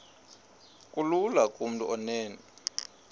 kulula kumntu onen